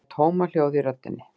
Það er tómahljóð í röddinni.